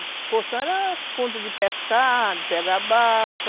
O Poção era um ponto de pescar, de pegar balsa.